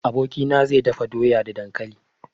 Abokina zai dafa doya da dankali.